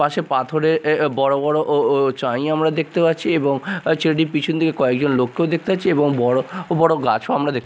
পাশে পাথরের এ এ বড়ো বড়ো ও ও চাঁই আমরা দেখতে পাচ্ছি এবং আঃ একটি পিছন দিকে কয়েকজন লোককেও দেখতে পাচ্ছি এবং বড়ো বড়ো গাছও আমরা দেখতে --